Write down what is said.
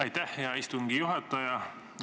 Aitäh, hea istungi juhataja!